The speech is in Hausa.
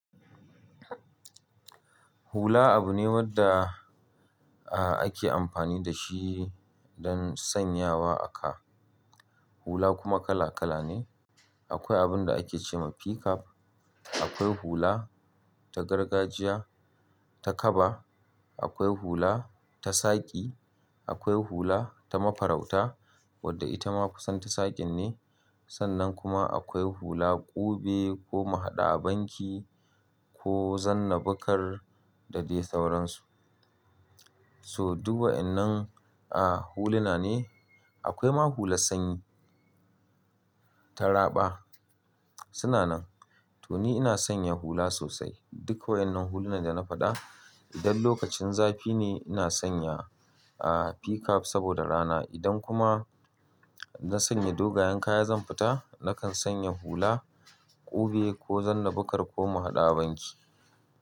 Hula abu ne wadda a ake amfani da shi don sanyawa a ka. Hula kuma kala kala ne. Akwai abun da ake ce ma pickup, akwai hula ta gargajiya, ta kaba, akwai hula ta saƙi, akwai hula ta mafarauta wadda ita ma kusanta saƙin ne. Sannan kuma akwai hula ƙube ko mahaɗu a banki ko zanna buƙar da dai sauransu. So duk wa’yannan huluna ne, akwai ma hula sanyi ta raɓa. Suna nan. To ni ina sanya hula sosai. Duka wa’yannan hulunan da na faɗa. Idan lokacin zafi ne ina sanya pickup saboda rana. Idan kuma na sanya dogayen kaya zan fita, nakan sanya hula ƙube ko zanna baƙar ko mahaɗa a banki.